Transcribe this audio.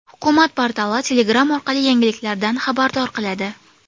Hukumat portali Telegram orqali yangiliklardan xabardor qiladi .